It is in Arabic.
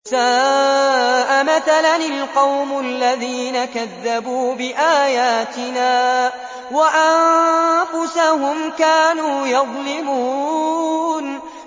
سَاءَ مَثَلًا الْقَوْمُ الَّذِينَ كَذَّبُوا بِآيَاتِنَا وَأَنفُسَهُمْ كَانُوا يَظْلِمُونَ